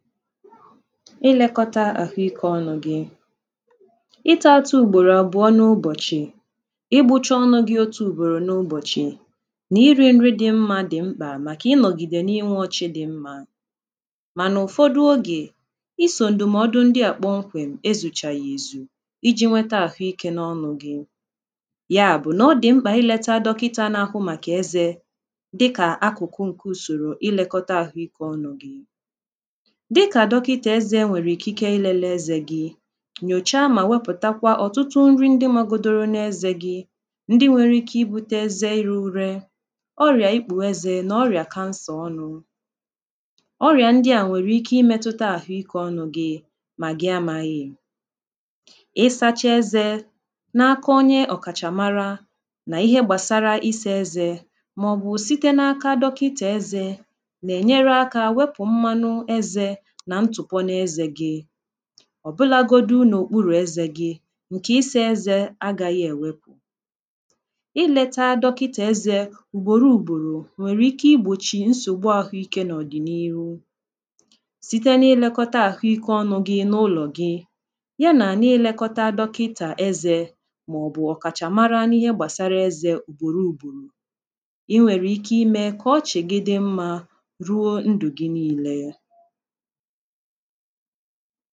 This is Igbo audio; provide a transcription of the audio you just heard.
ilekọta ahụike ọnụ̇ gị ịta atụ ugboro abụọ n’ụbọchị i gbuchọ ọnụ gị otu ugboro n’ụbọchị na irė nri dị mmȧ dị mkpà maka ịnọgide na inwȯchị dị mmȧ mana ụfọdụ oge iso ndụmọdụ ndị a kpọmkwem ezùchà ya ezù iji̇ nweta ahụike n’ọnụ̇ gị ya bụ̀ nà ọ dị mkpà ileta dọkịta n’ahụ maka eze dịka akụkụ nke usòrò ilekọta ahụike ọnụ̇ gị ị kà dọkịtà ezė e nwèrè ikė i lelee ezė gị nyòcha mà wepụ̀takwa ọ̀tụtụ nri ndị magodoro n’ezė gị ndị nwere ike i bute ezė iru̇ ure ọrị̀à ikpù ezė nà ọrị̀à kansà ọnụ̇ ọrị̀à ndị à nwèrè ike ịmetuta àhụ ikė ọnụ̇ gị mà gị amaghị ịsȧchȧ ezė na aka onye ọ̀kàchàmara nà ihe gbàsara isė ezė mà ọ̀bụ̀ site n’aka dọkịtà ezė nà ènyere aka wepụ̀ mmanụ̇ ezė nà ntụ̀kwara n’ezė gi ọ̀bụlȧ godu nà okpuru̇ ezė gi ǹkè isi̇ ezė agȧghị̇ èwepù ịlėta dọkịtà ezė ùgbòrò ùgbòrò nwèrè ike igbòchì nsògbu àhụikė n’ọ̀dị̀nihu site n’ịlėkọta àhụikė ọnụ̇ gi n’ụlọ̀ gị ya nà n’ịlėkọta dọkịtà ezė màọ̀bụ̀ ọ̀kàchàmara na ihe gbàsara ezė ùgbòrò ùgbòrò i nwèrè ike imė kà ọchị̀ gị dị̇ mmȧ ruo ndụ̀ gị niilė ya ha bịa, hà ànalụzie gị̇ ebe ị kwụsị̀lị̀ malụzie ihe ha gà-ẹ̀mẹ, kpọlụzịẹ ndị mẹlụlụ ahụ jẹbẹzịẹ ụnọ̀ọgwụ̀ m̀gbe ọbụnà ẹnwẹ̀lụ̀ ihẹ m̀bẹ̀lẹ̀dẹ, ọ bụ̀ akala ẹkwẹntị̇ a kà ị gà-àkpọ, ìtoolu̇ otù nà otù dàalụ nụ̀